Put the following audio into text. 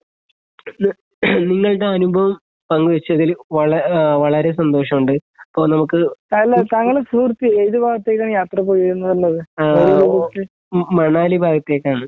നിങ്ങളടെ അനുഭവം പങ്കുവെച്ചതില് വളര് ആഹ് വളരെ സന്തോഷമുണ്ട് അപ്പോ നമുക്ക് ആ മണാലി ഭാഗത്തേക്കാണ് .